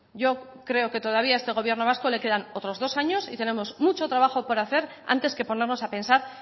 yo creo que todavía a este gobierno vasco les quedan otros dos años y tenemos mucho trabajo por hacer antes que ponernos a pensar